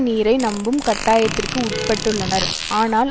நீரை நம்பும் கட்டாயத்திற்கு உட்பட்டுள்ளனர் ஆனால்